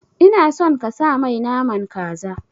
Ina son kasa mai naman kaza